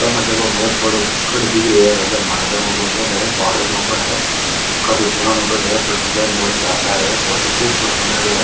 सामे देखो बहोत बड़ो कोई गढ़ दिख रो है राजा महराजा काे गढ़ है पहाड़ के ऊपर है काफी पुरानो गढ़ है पर डिजाइन बहुत शानदार है बहुत ही खूबसूरत बनायोडो है।